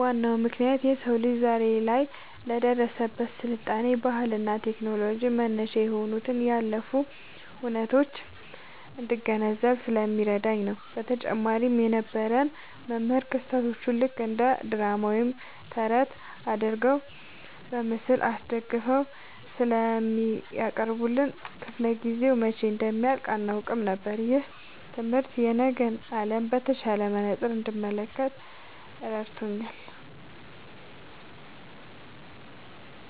ዋናው ምክንያት የሰው ልጅ ዛሬ ላይ ለደረሰበት ስልጣኔ፣ ባህልና ቴክኖሎጂ መነሻ የሆኑትን ያለፉ ሁነቶች እንድገነዘብ ስለሚያደርገኝ ነው። በተጨማሪም የነበረን የታሪክ መምህር ክስተቶቹን ልክ እንደ ድራማ ወይም ተረት አድርገው በምስል አስደግፈው ስለሚያቀርቡልን፣ ክፍለ-ጊዜው መቼ እንደሚያልቅ አናውቅም ነበር። ይህ ትምህርት የነገን ዓለም በተሻለ መነጽር እንድመለከት ረድቶኛል።"